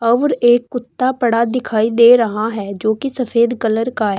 और एक कुत्ता पड़ा दिखाई दे रहा है जो की सफेद कलर का है।